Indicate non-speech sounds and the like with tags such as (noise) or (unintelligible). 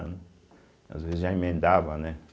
(unintelligible) Às vezes, já emendava, né?